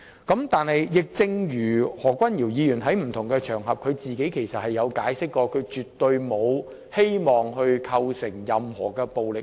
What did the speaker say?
可是，亦正如何君堯議員在不同場合所解釋，他是絕對無意煽動任何暴力行為。